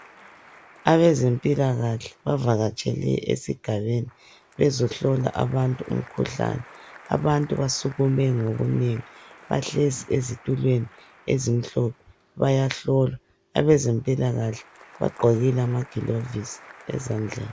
Abezempilakahle bavakatshele esigabeni bezohlola abantu umkhuhlane. Abantu basukume ngobunengi, bahlezi ezitulweni ezimhlophe bayahlolwa. Abezempilakahle bagqokile amagilovisi ezandleni.